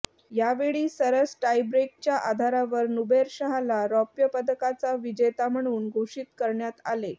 यावेळी सरस टायब्रेकच्या आधारावर नुबैरशाहला रौप्यपदकाचा विजेता म्हणून घोषीत करण्यात आले